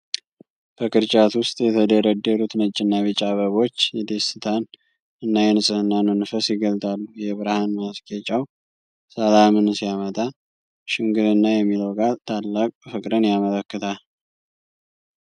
በቅርጫት ውስጥ የተደረደሩት ነጭና ቢጫ አበቦች የደስታን እና የንጽህናን መንፈስ ይገልጣሉ። የብርሃን ማስጌጫው ሰላምን ሲያመጣ፣ ሽምግልና' የሚለው ቃል ታላቅ ፍቅርን ያመለክታል።